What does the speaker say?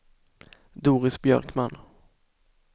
Doris Björkman